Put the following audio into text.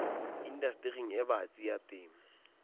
indastering e batsi ya temo